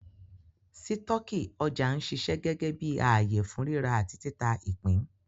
Sítọ̀kì ọjà ń ṣiṣẹ́ gẹ́gẹ́ bí ààyè fún ríra àti títà ìpín